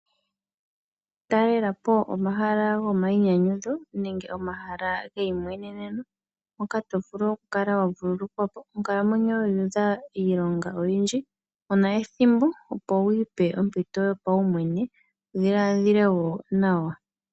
Talela po omahala goomaiinyayudho nenge omahala geiimweneneno moka tovulu oku kala wa vululukwa po. Onkalamwenyo yu udha iilonga oyindji kuna ethimbo opo wu ipe ompito yo paumwene wudhiladhile wo nawa.